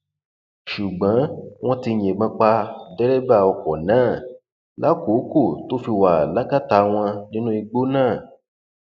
ṣùgbọn wọn ti yìnbọn pa dẹrẹbà ọkọ náà lákòókò tó fi wà lákàtà wọn nínú igbó náà